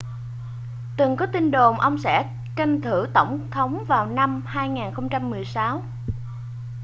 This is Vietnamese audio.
từng có tin đồn ông sẽ tranh cử tổng thống vào năm 2016